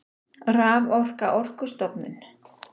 Raforka Orkustofnun.